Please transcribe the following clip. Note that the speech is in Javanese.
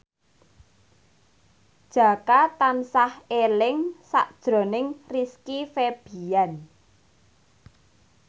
Jaka tansah eling sakjroning Rizky Febian